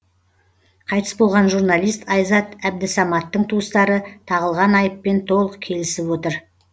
қайтыс болған журналист айзат әбдісаматтың туыстары тағылған айыппен толық келісіп отыр